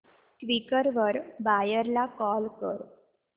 Quikr वर buyer ला call कर